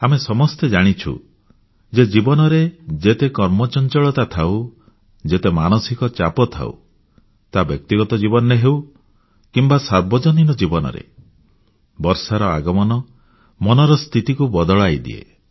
ଆମେ ସମସ୍ତେ ଜାଣିଛୁ ଯେ ଜୀବନରେ ଯେତେ କର୍ମ ଚଞ୍ଚଳତା ଥାଉ ଯେତେ ମାନସିକ ଚାପ ଥାଉ ତାହା ବ୍ୟକ୍ତିଗତ କିମ୍ବା ସାର୍ବଜନୀନ ଜୀବନରେ ହେଉ ବର୍ଷାର ଆଗମନ ମନର ସ୍ଥିତିକୁ ବଦଳାଇ ଦିଏ